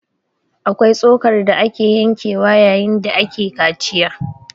Akwai tsokar da ake yankewa yayin da ake kaciya